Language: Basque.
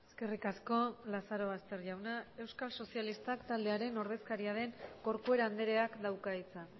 eskerrik asko lazarobaster jauna euskal sozialistak taldearen ordezkaria den corcuera andreak dauka hitza